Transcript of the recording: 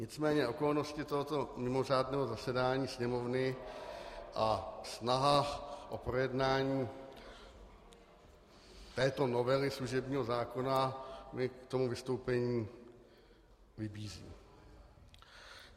Nicméně okolnosti tohoto mimořádného zasedání Sněmovny a snaha o projednání této novely služebního zákona mě k tomu vystoupení vybízí.